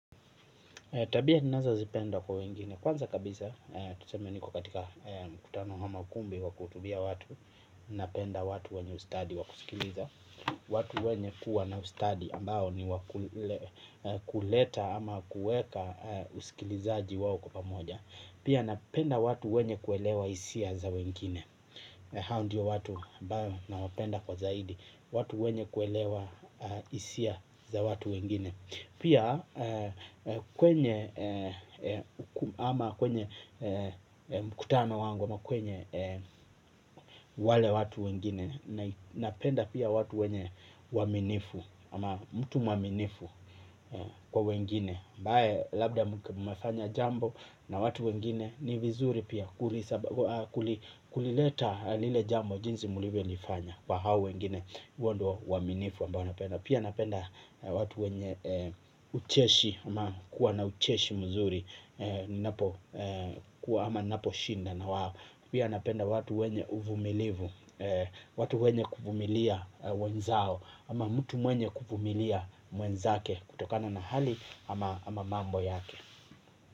Tabia ninazo zipenda kwa wengine kwanza kabisa tuseme niko katika mkutano ama ukumbi wa kuhutubia watu napenda watu wenye ustadi wa kusikiliza. Watu wenye kuwa na ustadi ambao ni kuleta ama kuweka usikilizaji wao kwa pamoja. Pia napenda watu wenye kuelewa hisia za wengine. Hao ndio watu ambao nawapenda kwa zaidi. Watu wenye kuelewa isia za watu wengine. Pia kwenye ama kwenye mkutano wangu ama kwenye wale watu wengine napenda pia watu wenye uaminifu ama mtu mwaminifu kwa wengine ambaye labda mmefanya jambo na watu wengine ni vizuri pia kulileta lile jambo jinsi mlivyo nifanya kwa hao wengine huo ndiyo uaminifu ambayo napenda pia napenda watu wenye ucheshi ama kuwa na ucheshi mzuri kuwa ama ninapo shinda na wao, pia napenda watu wenye uvumilivu watu wenye kuvumilia wenzao ama mtu mwenye kuvumilia mwenzake kutokana na hali ama mambo yake.